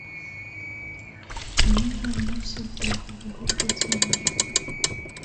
нина навсегда выведи мне